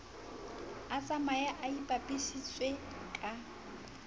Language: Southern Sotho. a tshwaye a ipapisitse ka